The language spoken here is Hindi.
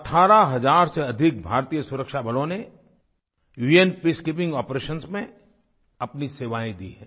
18 हज़ार से अधिक भारतीय सुरक्षाबलों ने उन पीसकीपिंग आपरेशंस में अपनी सेवाएँ दी हैं